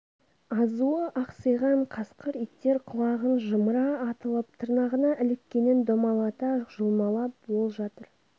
азуы ақсиған қасқыр иттер құлағын жымыра атылып тырнағына іліккенін домалата жұлмалап ол жатыр